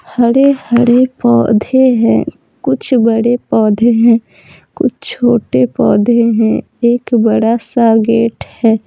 हरे-हरे पौधे हैं कुछ बड़े पौधे हैं कुछ छोटे पौधे हैं एक बड़ा सा गेट है।